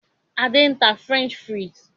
Adé ń tà "French fries".